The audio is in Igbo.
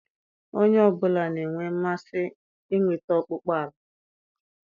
Onye ọ bụla na-enwe mmasị inweta ihe ọkpụkpụ ọla